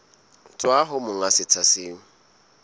tswa ho monga setsha seo